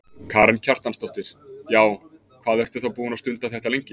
Karen Kjartansdóttir: Já, hvað ertu þá búin að stunda þetta lengi?